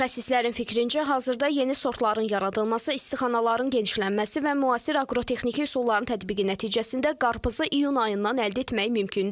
Mütəxəssislərin fikrincə, hal-hazırda yeni sortların yaradılması, istixanaların genişlənməsi və müasir aqrotexniki üsulların tətbiqi nəticəsində qarpızı iyun ayından əldə etmək mümkündür.